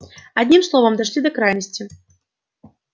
одним словом дошли до крайности